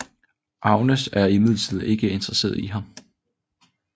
Agnes er imidlertid ikke interesseret i ham